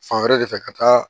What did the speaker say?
Fan wɛrɛ de fɛ ka taa